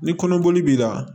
Ni kɔnɔboli b'i la